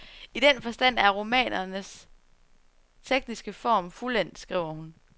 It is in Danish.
I den forstand er romanens tekniske form fuldendt, skriver hun.